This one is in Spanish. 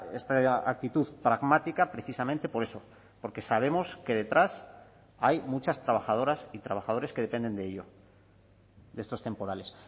esta actitud pragmática precisamente por eso porque sabemos que detrás hay muchas trabajadoras y trabajadores que dependen de ello de estos temporales